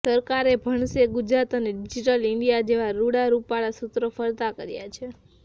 સરકારે ભણશે ગુજરાત અને ડિજિટલ ઈન્ડિંયા જેવા રૃડાં રૃપાળાં સૂત્રો ફરતા કર્યા છે